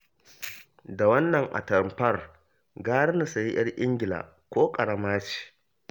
Da wannan atamfar gara na sayi 'yar Ingila ko ƙarama ce